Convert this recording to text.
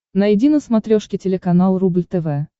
найди на смотрешке телеканал рубль тв